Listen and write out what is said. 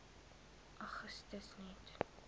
augustus net